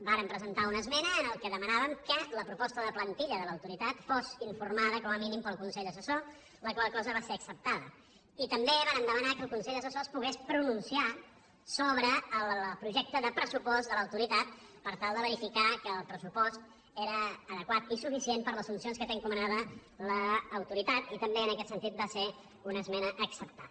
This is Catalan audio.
vàrem presentar una esmena en la qual demanàvem que la proposta de plantilla de l’autoritat fos informada com a mínim pel consell assessor la qual cosa va ser acceptada i també vàrem demanar que el consell assessor es pogués pronunciar sobre el projecte de pressupost de l’autoritat per tal de verificar que el pressupost era adequat i suficient per les funcions que té encomanada l’autoritat i també en aquest sentit va ser una esmena acceptada